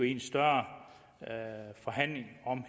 i en større forhandling om